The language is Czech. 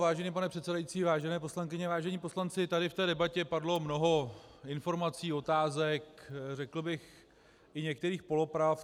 Vážený pane předsedající, vážené poslankyně, vážení poslanci, tady v té debatě padlo mnoho informací, otázek, řekl bych i některých polopravd.